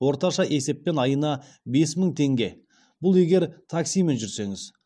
орташа есеппен айына бес мың теңге бұл егер таксимен жүрсеңіз